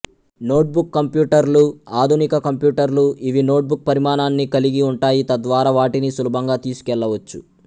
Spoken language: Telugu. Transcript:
నోట్బుక్ కంప్యూటర్లు ఆధునిక కంప్యూటర్లు ఇవి నోట్బుక్ పరిమాణాన్ని కలిగి ఉంటాయి తద్వారా వాటిని సులభంగా తీసుకెళ్లవచ్చు